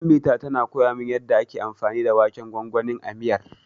Ummita tana koya min yanda ake anfani da waken gwangwanin a miyar.